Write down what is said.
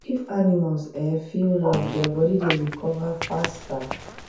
if animals um feel love their body dey recover faster